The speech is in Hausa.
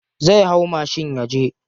Zai hau mashin yaje.